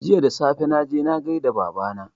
Jiya da safe, na je na gai da Baba na